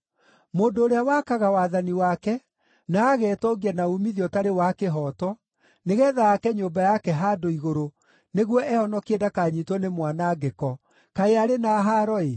“Mũndũ ũrĩa wakaga wathani wake, na agetongia na uumithio ũtarĩ wa kĩhooto, nĩgeetha aake nyũmba yake handũ igũrũ nĩguo ehonokie ndakanyiitwo nĩ mwanangĩko, kaĩ arĩ na haaro-ĩ!